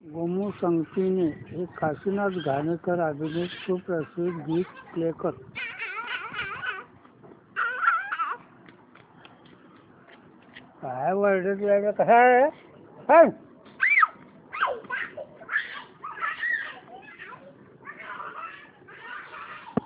गोमू संगतीने हे काशीनाथ घाणेकर अभिनीत सुप्रसिद्ध गीत प्ले कर